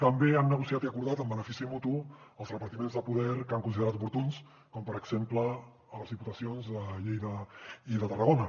també han negociat i acordat en benefici mutu els repartiments de poder que han considerat oportuns com per exemple a les diputacions de lleida i de tarragona